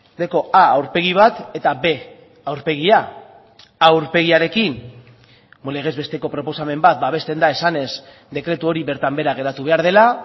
dauka a aurpegi bat eta b aurpegia a aurpegiarekin legez besteko proposamen bat babesten da esanez dekretu hori bertan behera geratu behar dela